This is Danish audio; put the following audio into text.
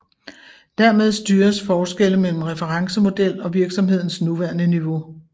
Dermed styres forskelle mellem referencemodel og virksomhedens nuværende niveau